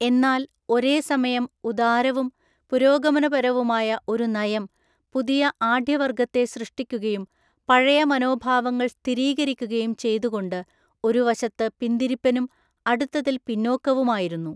എന്നാൽ ഒരേ സമയം ഉദാരവും പുരോഗമനപരവുമായ ഒരു നയം പുതിയ ആഢ്യവര്‍ഗത്തെ സൃഷ്ടിക്കുകയും പഴയ മനോഭാവങ്ങൾ സ്ഥിരീകരിക്കുകയും ചെയ്തുകൊണ്ട് ഒരു വശത്ത് പിന്തിരിപ്പനും അടുത്തതിൽ പിന്നോക്കവുമായിരുന്നു.